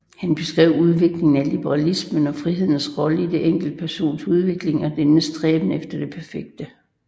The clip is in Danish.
Han beskrev udviklingen af liberalismen og frihedens rolle i den enkeltes personlige udvikling og dennes stræben efter det perfekte